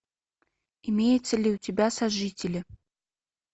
имеется ли у тебя сожители